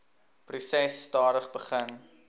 proses stadig begin